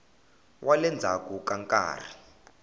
wa le ndzhaku ka nkarhi